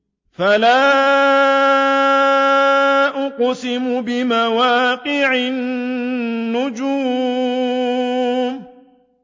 ۞ فَلَا أُقْسِمُ بِمَوَاقِعِ النُّجُومِ